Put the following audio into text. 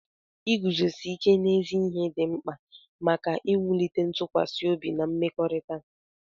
Iguzosi ike n'ezi ihe dị mkpa maka iwulite ntụkwasị obi na mmekọrịta.